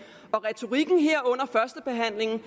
retorikken her under førstebehandlingen